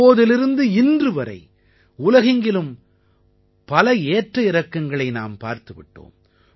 அப்போதிலிருந்து இன்றுவரை உலகெங்கிலும் பல ஏற்ற இறக்கங்களை நாம் பார்த்து விட்டோம்